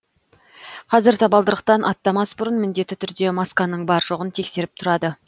қазір табалдырықтан аттамас бұрын міндетті түрде масканың бар жоғын тексеріп тұрады